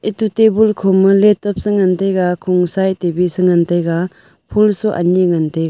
ato tabun khoma laptop se ngan taiga khungsaye tabe ngan taiga phool su ani ngan taiga.